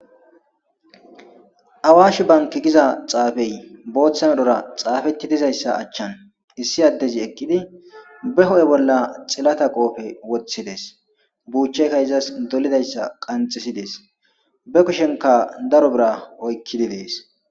awashi banki giza xaafey booththan odhora xaafetti dizayssa achchan issi addezi ekkidi be ho7e bolla xilata qoofe woththides buuchcheyka izas dolidayssa qanxisides be kushenka daro bira oykkidibees